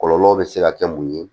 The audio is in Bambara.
Kɔlɔlɔ bɛ se ka kɛ mun ye